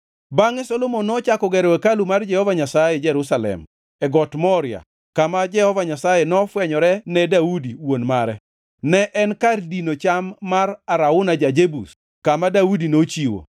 Bangʼe Solomon nochako gero hekalu mar Jehova Nyasaye Jerusalem e got Moria kama Jehova Nyasaye nofwenyore ne Daudi wuon mare. Ne en e kar dino cham mar Arauna ja-Jebus kama Daudi nochiwo.